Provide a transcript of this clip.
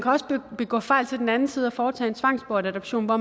også begå fejl til den anden side og foretage en tvangsbortadoption hvor